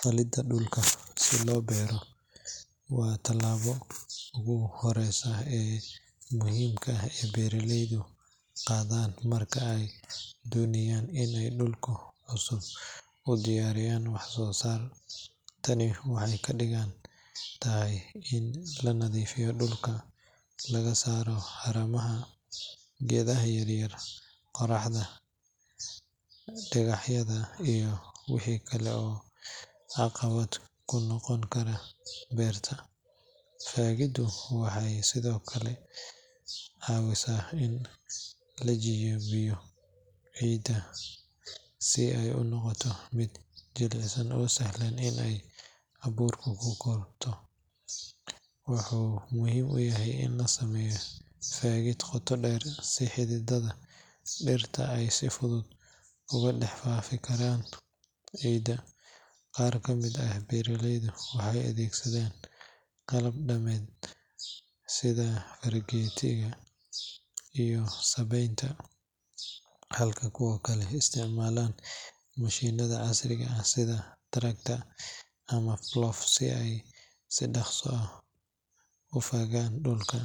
Faagidda dhulka si loo beerto waa tallaabada ugu horreysa ee muhiimka ah ee beeraleydu qaadaan marka ay doonayaan in ay dhul cusub u diyaariyaan wax-soo-saar. Tani waxay ka dhigan tahay in la nadiifiyo dhulka, laga saaro haramaha, geedaha yaryar, qodxanta, dhagaxyada iyo wixii kale ee caqabad ku noqon kara beerta. Faagiddu waxay sidoo kale caawisaa in la jabiyo ciidda si ay u noqoto mid jilicsan oo sahlan in ay abuurta ku korto. Waxaa muhiim ah in la sameeyo faagid qoto dheer si xididdada dhirta ay si fudud ugu dhex faafi karaan ciidda. Qaar ka mid ah beeraleyda waxay adeegsadaan qalab dhaqameed sida fargeetiga iyo sabbaynta, halka kuwa kale isticmaalaan mashiinada casriga ah sida tractor ama plough si ay si dhakhso ah u fagaan dhulka.